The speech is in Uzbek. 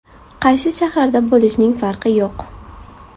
Qaysi shaharda bo‘lishning farqi yo‘q.